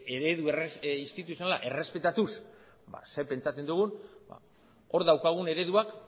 eredu instituzionala errespetatuz ze pentsatzen dugun ba hor daukagun ereduak